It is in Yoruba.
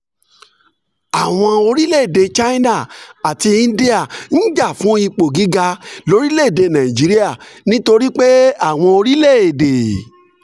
àwọn orílẹ̀-èdè china àti india ń jà fún ipò gíga lórílẹ̀-èdè nàìjíríà nítorí pé àwọn orílẹ̀-èdè